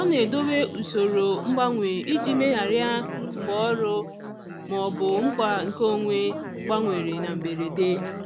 Ọ na-edobe usoro mgbanwe iji megharịa mgbe ọrụ maọbụ mkpa nke onwe gbanwere na mberede.